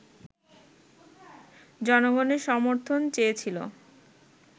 জনগণের সমর্থন চেয়েছিল